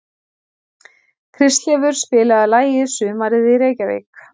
Kristleifur, spilaðu lagið „Sumarið í Reykjavík“.